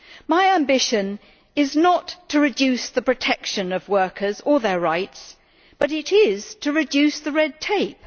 My ambition is not to reduce the protection of workers or their rights, but it is to reduce the red tape.